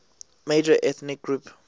major ethnic group